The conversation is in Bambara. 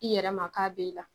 I yɛrɛ ma k'a b'e la